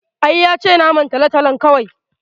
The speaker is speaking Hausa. I, yace naman tolotolon kawai